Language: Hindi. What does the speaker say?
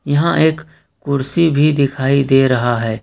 यहाँ एक कुर्सी भी दिखाई दे रहा है।